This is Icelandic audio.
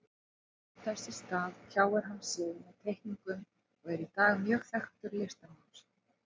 Þess í stað tjáði hann sig með teikningum og er í dag mjög þekktur listamaður.